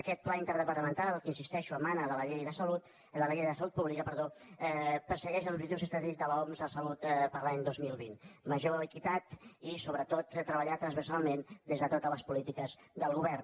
aquest pla in·terdepartamental que hi insisteixo emana de la llei de salut pública persegueix els objectius estratègics de l’oms de salut per a l’any dos mil vint major equitat i sobretot treballar transversalment des de totes les po·lítiques del govern